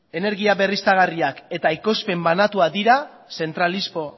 energia berriztagarriak eta ekoizpen banatua dira zentralismo